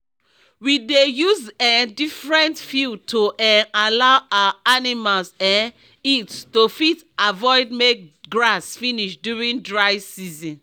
we dey use um different field to um allow our animals um eat to fit avoid make grass finish during dry season